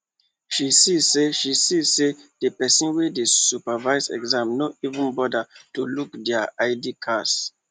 she see say she see say the person wey dey supervise exam no even bother to look their id cards